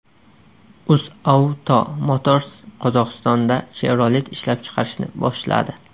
UzAuto Motors Qozog‘istonda Chevrolet ishlab chiqarishni boshladi.